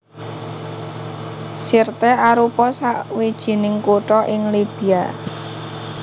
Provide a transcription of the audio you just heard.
Sirte arupa sawijining kutha ing Libya